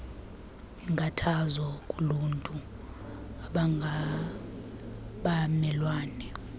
inkathazo kuluntu abangabamelwane